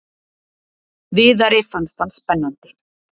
Viðari fannst hann spennandi.